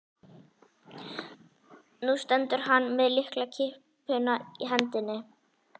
Nú stendur hann með lyklakippuna í hendinni.